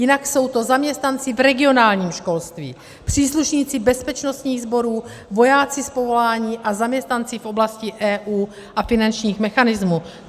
Jinak jsou to zaměstnanci v regionálním školství, příslušníci bezpečnostních sborů, vojáci z povolání a zaměstnanci v oblasti EU a finančních mechanismů.